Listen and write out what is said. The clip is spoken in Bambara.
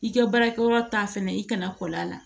I ka baarakɛyɔrɔ ta fɛnɛ i kana kɔl'a la